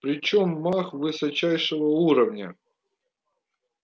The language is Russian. причём маг высочайшего уровня